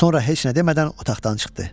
Sonra heç nə demədən otaqdan çıxdı.